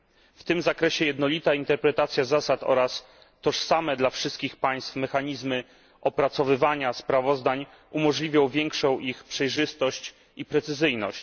W tym zakresie jednolita interpretacja zasad oraz tożsame dla wszystkich państw mechanizmy opracowywania sprawozdań umożliwią większą ich przejrzystość i precyzyjność.